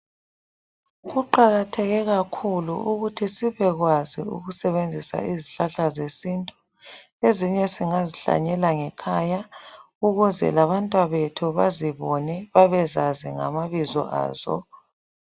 Kuqakatheke kakhulu ukuthi sibekwazi ukusebenzisa izihlahla zesintu. Ezinye singazihlanyela ngekhaya ukuze labantwabethu bazibone babezazi lamabizo azo.